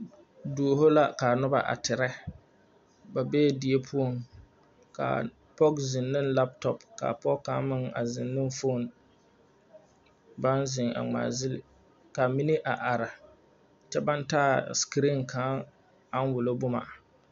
Duoho la kaa nobɔ a tirɛ ba bee die poɔŋ kaa pɔg zeŋ neŋ laptɔp kaa pɔg kaŋ meŋ zeŋ ne foon baŋ zeŋ a ngmaa ville ka ba mine a are kyɛ baŋ taa sekireen kaŋ aŋ wullo bomma.